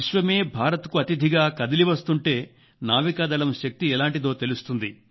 విశ్వమే భారత్ కు అతిథిగా కదిలివస్తుంటే నావికాదళం శక్తి ఎలాంటిదో తెలుస్తుంది